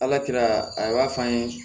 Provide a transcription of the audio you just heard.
Ala kira a b'a f'an ye